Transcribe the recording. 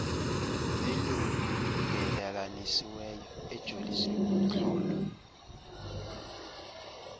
elungelelanisiweyo ejolise kumxholo